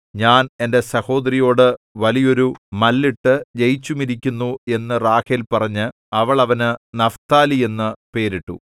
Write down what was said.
ഞാൻ എന്റെ സഹോദരിയോടു വലിയോരു മല്ലിട്ടു ജയിച്ചുമിരിക്കുന്നു എന്നു റാഹേൽ പറഞ്ഞ് അവൾ അവന് നഫ്താലി എന്നു പേരിട്ടു